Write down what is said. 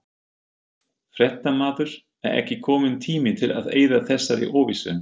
Fréttamaður: Er ekki kominn tími til að eyða þessari óvissu?